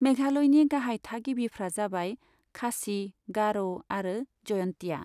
मेघालयनि गाहाय थागिबिफ्रा जाबाय खासि, गार' आरो जयन्तिया।